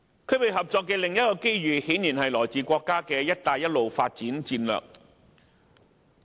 區域合作的另一個機遇，顯然是來自國家的"一帶一路"發展策略。